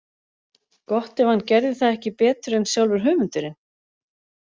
Gott ef hann gerði það ekki betur en sjálfur höfundurinn.